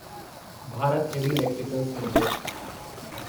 Bharat heavy electricals limited